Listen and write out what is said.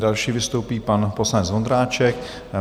Další vystoupí pan poslanec Vondráček.